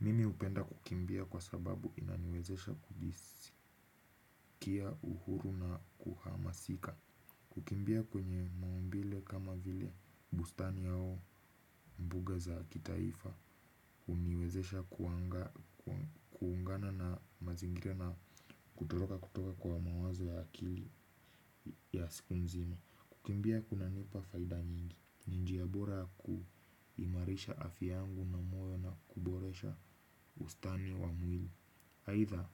Mimi hupenda kukimbia kwa sababu inaniwezesha kia uhuru na kuhamasika. Kukimbia kwenye mauambile kama vile bustani au mbuga za kitaifa huniwezesha kuungana na mazingira na kutoroka kutoka kwa mawazo ya akili ya siku mzima. Kukimbia kunanipa faida nyingi ni njia bora ya kuimarisha afya yangu na moyo na kuboresha ustani wa mwili aidha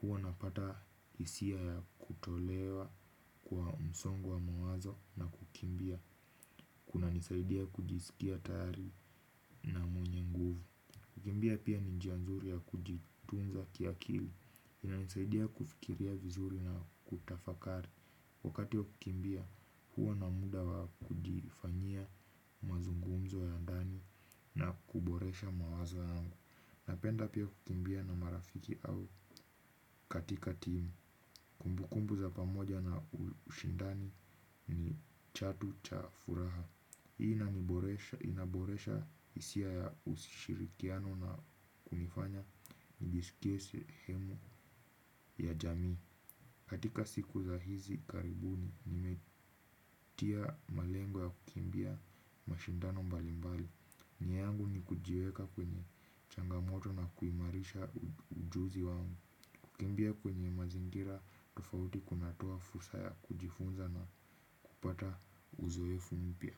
huwa napata hisia ya kutolewa kwa msongo wa mawazo na kukimbia. Kun nisaidia kujisikia tayari na mwenye nguvu. Kukimbia pia ni njia nzuri ya kujitunza kiakili. Inanisaidia kufikiria vizuri na kutafakari. Wakati wa kukimbia huwa na muda wa kujifanyia mazungumzo ya ndani na kuboresha mawazo yangu. Napenda pia kukimbia na marafiki au katika timu, kumbukumbu za pamoja na ushindani ni chatu cha furaha. Hii inaboresha hisia ya usishirikiano na kunifanya nijisikie sehemu ya jamii. Katika siku za hizi karibuni, nimetia malengo ya kukimbia mashindano mbalimbali. Nia yangu ni kujiweka kwenye changamoto na kuimarisha ujuzi wangu. Kukimbia kwenye mazingira tofauti kunatoa fursa ya kujifunza na kupata uzoefu mpya.